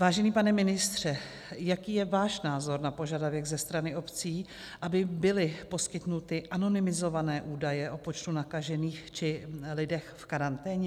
Vážený pane ministře, jaký je váš názor na požadavek ze strany obcí, aby byly poskytnuty anonymizované údaje o počtu nakažených či lidech v karanténě?